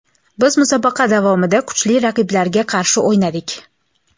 Biz musobaqa davomida kuchli raqiblarga qarshi o‘ynadik.